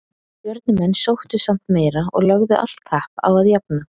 Stjörnumenn sóttu samt meira og lögðu allt kapp á að jafna.